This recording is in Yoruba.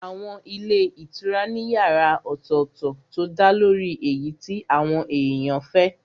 Àwọn ilé ìtura ní yàrá ọ̀tọ̀tọ̀ tó dálórí èyí tí àwọn èèyàn fẹ́